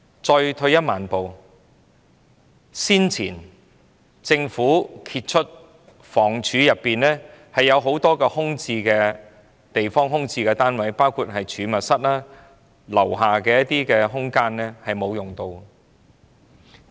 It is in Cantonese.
再退一萬步說，早前政府被揭發房屋署轄下有很多空置單位，包括儲物室、公屋大廈低層空間，並未有得到善用。